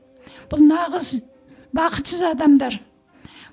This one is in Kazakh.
бұл нағыз бақытсыз адамдар